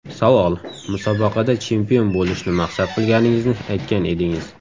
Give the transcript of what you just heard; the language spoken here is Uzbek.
Savol: Musobaqada chempion bo‘lishni maqsad qilganingizni aytgan edingiz.